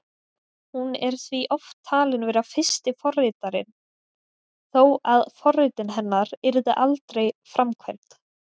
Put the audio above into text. Hún er því oft talin vera fyrsti forritarinn, þó að forritin hennar yrðu aldrei framkvæmd.